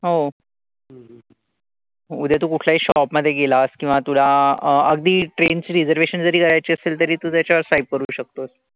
हो. उद्या तू कुठल्याही shop मध्ये गेलास किंवा तुला अगदी train ची reservation जरी करायची असेल तरी तू त्याच्यावर swipe करू शकतोस.